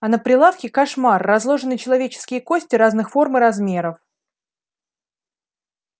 а на прилавке кошмар разложены человеческие кости разных форм и размеров